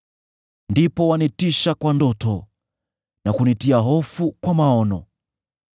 ndipo wanitisha kwa ndoto na kunitia hofu kwa maono,